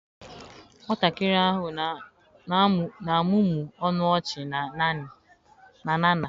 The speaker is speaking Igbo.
Nwatakịrị ahụ na-amụmụ ọnụ ọchị na Nana.